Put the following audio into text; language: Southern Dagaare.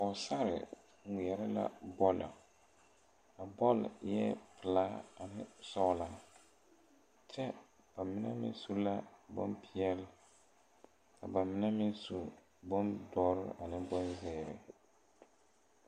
Pɔɔsarre ngmeɛrɛ la bɔlɔ a bɔl eɛɛ pelaa ane sɔglɔ kyɛ ba mine meŋ su la bonpeɛle ka ba mine meŋ su bondɔre ane bonzeere.